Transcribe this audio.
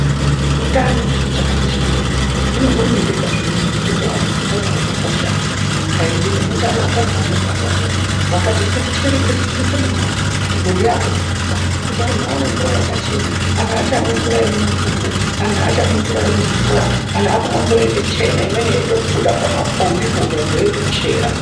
Utano vhiro chakakosha maningi hino hurumende yakazviona kuti ngatipe antu utano hwakakosha munyika yedu nemuntaraubda dzavanogara umo vakati ngatichere ngatitsise mugodi mugodhi yakutsiswa antu akumwe mvura yakachena aachamwi mumufuku anhu aachamwi mvura yemuzvikowa anhu akumwe mvura yakachena inenge yeitobuda pamapombipo vantu veitochera.